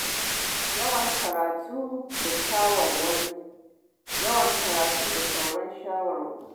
Yawan karatu da shawarwari yawan karatu da sauraron shawarwari